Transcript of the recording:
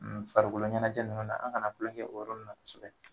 N farikolo ɲɛnajɛ nunnu na, an kana kulon kɛ olu la kosɛbɛ